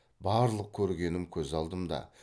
барлық көргенім көз алдымда